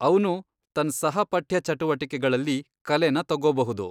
ಅವ್ನು ತನ್ ಸಹ ಪಠ್ಯ ಚಟುವಟಿಕೆಗಳಲ್ಲಿ ಕಲೆನ ತಗೋಬಹುದು.